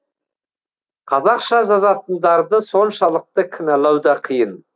қазақша жазатындарды соншалықты кінәлау да қиын